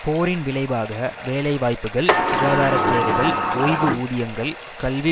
போரின் விளைவாக வேலை வாய்ப்புகள் சுகாதாரச் சேவைகள் ஓய்வு ஊதியங்கள் கல்வி